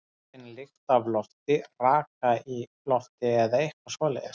Ég finn lykt af lofti, raka í lofti eða eitthvað svoleiðis.